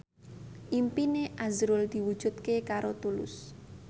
impine azrul diwujudke karo Tulus